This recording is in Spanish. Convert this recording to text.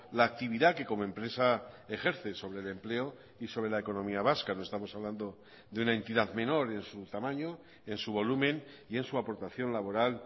la actividad que como empresa ejerce sobre el empleo y sobre la economía vasca no estamos hablando de una entidad menor en su tamaño en su volumen y en su aportación laboral